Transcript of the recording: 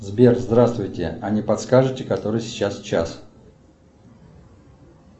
сбер здравствуйте а не подскажете который сейчас час